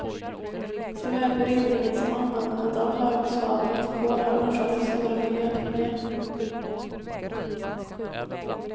Såväl brytningen som användandet av högsvavligt kol har orsakat stora miljöproblem.